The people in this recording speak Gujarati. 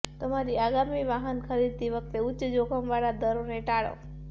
તમારી આગામી વાહન ખરીદતી વખતે ઉચ્ચ જોખમવાળા દરોને ટાળો